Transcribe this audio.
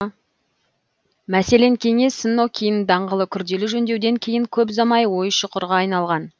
мәселен кеңес нокин даңғылы күрделі жөндеуден кейін көп ұзамай ой шұқырға айналған